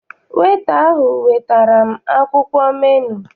Weta ahụ wetara m akwụkwọ menu.